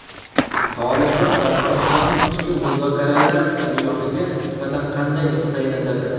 Toliblar Afg‘onistonning ichki muzokaralar jarayoniga nisbatan qanday nuqtai nazarda?